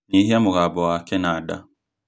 nyihia mũgambo wa kĩnanda